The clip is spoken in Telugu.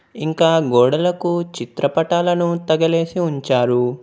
ఇంకా గోడలకు చిత్రపటాలను తగలేసి ఉంచారు.